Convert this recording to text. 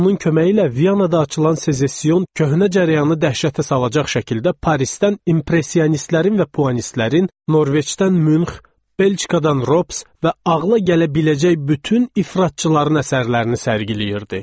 Onun köməyi ilə Viyanada açılan sezesiyon köhnə cərəyanı dəhşətə salacaq şəkildə Parisdən impressionistlərin və puanistlərin, Norveçdən Münx, Belçikadan Robs və ağla gələ biləcək bütün ifratçıların əsərlərini sərgiləyirdi.